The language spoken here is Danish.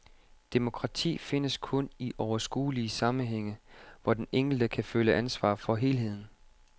Demokrati findes kun i overskuelige sammenhænge, hvor den enkelte kan føle ansvar for helheden.